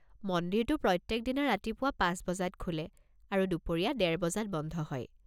মন্দিৰটো প্ৰত্যেকদিনা ৰাতিপুৱা পাঁচ বজাত খোলে আৰু দুপৰীয়া ডেৰ বজাত বন্ধ হয়।